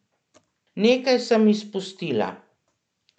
Nekaj sem izpustila.